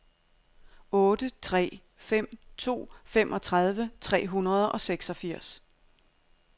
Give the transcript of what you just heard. otte tre fem to femogtredive tre hundrede og seksogfirs